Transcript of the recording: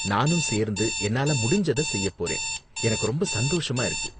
நானும் சேர்ந்து என்னால முடிஞ்சத செய்ய போறேன், எனக்கு ரொம்ப சந்தோஷமா இருக்கு.